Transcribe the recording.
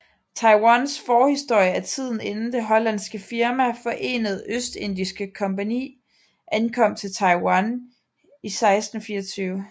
Taiwans forhistorie er tiden inden det hollandske firma Forenede Østindiske kompagni ankom til Taiwan i 1624